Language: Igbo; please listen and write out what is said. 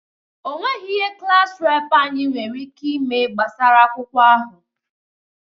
Onweghi ihe klass reepụ anyi nwere ike ime gbasara akwụkwọ ahụ.